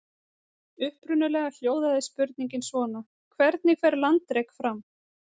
Upprunalega hljóðaði spurningin svona: Hvernig fer landrek fram?